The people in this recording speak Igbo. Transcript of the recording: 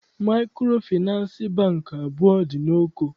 Maịkrofịnansị Bankị abụọ dị n'Oko